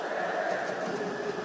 Qarabağ!